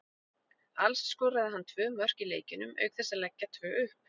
Alls skoraði hann tvö mörk í leikjunum auk þess að leggja tvö upp.